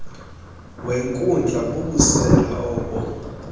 wenkundla bubusela obo